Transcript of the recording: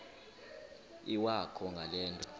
iwakho ngale nto